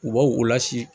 U b'aw o la si